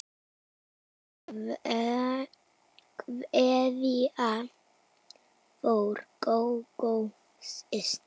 Kveðja frá Gógó systur.